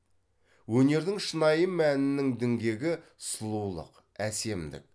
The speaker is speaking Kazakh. өнердің шынайы мәнінің діңгегі сұлулық әсемдік